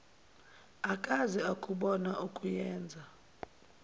akaze akubona okuyenza